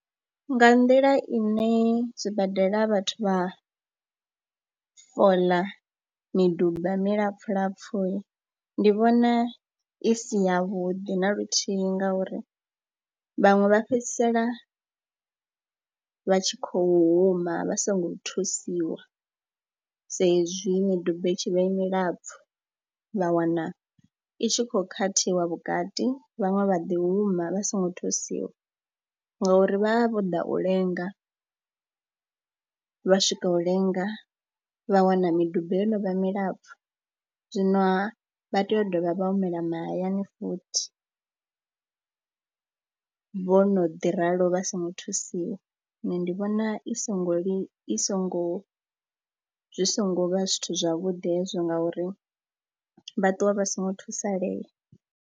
Nga nḓila ine zwibadela vhathu vha fola miduba milapfhu lapfhu ndi vhona i si yavhuḓi na luthihi ngauri vhaṅwe vha fhedzisela vha tshi khou huma vha songo thusiwa sa ezwi miduba i tshi vha i milapfhu. Vha wana i tshi khou khathiwa vhukati, vhaṅwe vha ḓi huma vha songo thusiwa ngauri vha vha vho ḓa u lenga, vha swika u lenga, vha wana miduba yo no vha milapfhu. Zwinoha vha tea u dovha vha humela mahayani futhi vho no ḓi ralo vha songo thusiwa. Nṋe ndi vhona i songo li, i songo, zwi songo vha zwithu zwavhuḓi hezwo ngauri vha ṱuwa vha songo thusalea.